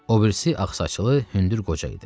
O birisi ağsaçlı, hündür qoca idi.